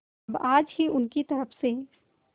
अब आज ही उनकी तरफ से